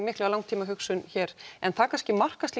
mikla langtímahugsun hér en það kannski markast